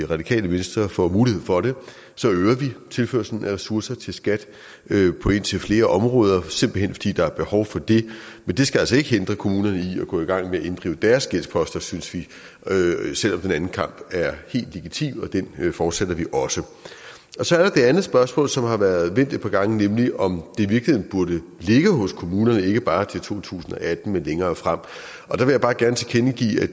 radikale venstre får mulighed for det så øger vi tilførslen af ressourcer til skat på indtil flere områder simpelt hen fordi der er behov for det men det skal altså ikke hindre kommunerne i at gå i gang med at inddrive deres gældsposter synes vi selv om den anden kamp er helt legitim og den fortsætter vi også så er der det andet spørgsmål som har været vendt et par gange nemlig om i virkeligheden burde ligge hos kommunerne ikke bare til to tusind og atten men længere frem